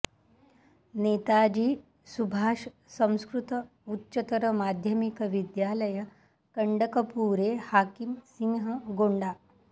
नेताजी सुभाष संस्कृत उच्चतर माध्यमिक विद्यालय कण्डकपूरे हाकिम सिंह गोण्डा